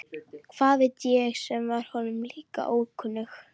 Hvað veit ég sem var honum líka ókunnug.